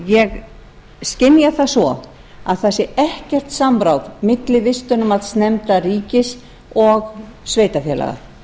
ég skynja það svo að það sé ekkert samráð milli vistunarmats ríkis og sveitarfélaga